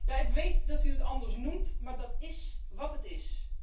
Ja, ik weet dat u het anders noemt, maar dat is wat het is.